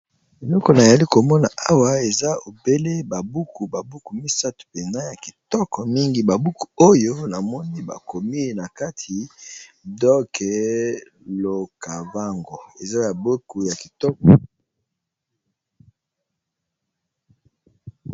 Eloko na yali komona awa eza obele ba buku, ba buku misato mpena ya kitoko mingi. Ba buku oyo na moni bakomi na kati doc l'okavango, eza ya buku ya kitoko.